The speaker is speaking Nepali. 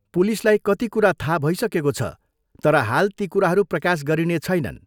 पुलिसलाई कति कुरा थाह भइसकेको छ तर हाल ती कुराहरू प्रकाश गरिनेछैनन्।